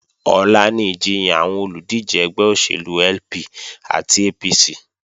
Ọ̀la ni ìjiyàn àwọn olùdíje ẹgbẹ́ òṣèlú LP àti APC